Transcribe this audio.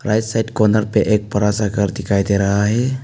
Right side corner पे एक बड़ा सा घर दिखाई दे रहा है।